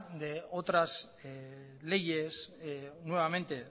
de otras leyes nuevamente